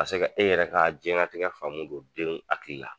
Ka se ka e yɛrɛ ka diɲɛlatigɛ faamu don denw hakili la.